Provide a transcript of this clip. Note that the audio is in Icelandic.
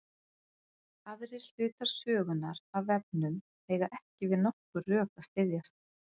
Aðrir hlutar sögunnar af vefnum eiga ekki við nokkur rök að styðjast.